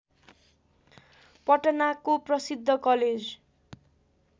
पटनाको प्रसिद्ध कलेज